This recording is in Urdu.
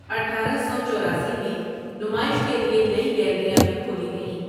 اٹھارہ سو چوراسی میں نمائش کے لیے نئی گیلریاں بھی کھولی گئیں ۔